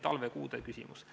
See oli talvekuude küsimus.